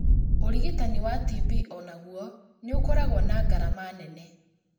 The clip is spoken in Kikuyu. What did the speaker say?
Ũrigitani wa TB o naguo nĩ ũkoragwo na ngarama nene